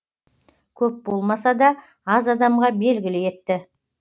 көп болмаса да аз адамға белгілі етті